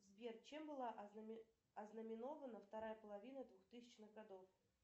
сбер чем была ознаменована вторая половина двухтысячных годов